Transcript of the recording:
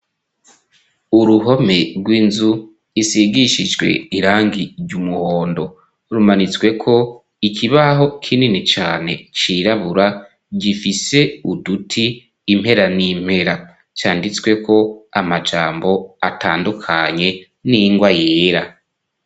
Uruhome rw'inzu isigishijwe irangi ry' umuhondo. Rumanitsweko ikibaho kinini cane cirabura, gifise uduti impera n'impera , canditsweko amajambo atandukanye n'ingwa yera.